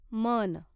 मन